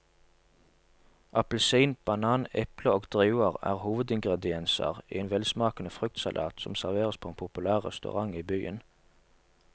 Appelsin, banan, eple og druer er hovedingredienser i en velsmakende fruktsalat som serveres på en populær restaurant i byen.